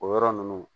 O yɔrɔ ninnu